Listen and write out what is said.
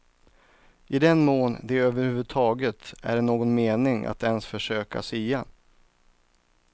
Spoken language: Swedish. I den mån det över huvud taget är någon mening att ens försöka sia.